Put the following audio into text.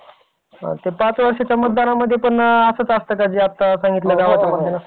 पाच वर्षाच्या मतदानामध्ये पण असंच असतं का जे आत्ता सांगितलं असं?